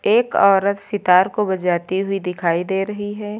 एक औरत सितार को बजाती हुई दिखाई दे रही है।